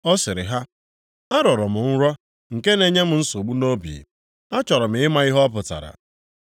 ọ sịrị ha, “Arọrọ m nrọ nke na-enye m nsogbu nʼobi. Achọrọ m ịma ihe ọ pụtara.”